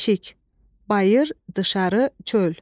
Eşik, bayır, dışarı, çöl.